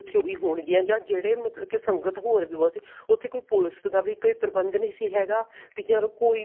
ਵੀ ਹੋਣਗੀਆਂ ਜਾਂ ਜਿਹੜੇ ਮਤਲਬ ਕਿ ਸੰਗਤ ਹੋਰ ਵੀ ਬਹੁਤ ਸੀ ਉਥੇ ਕੋਈ ਪੁਲਸ ਦਾ ਵੀ ਕੋਈ ਪ੍ਰਬੰਧ ਨਹੀ ਸੀ ਹੈਗਾ ਵੀ ਚਲ ਕੋਈ